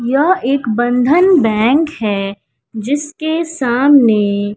यह एक बंधन बैंक है जिसके सामने--